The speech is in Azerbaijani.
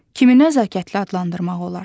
Kimi nəzakətli adlandırmaq olar?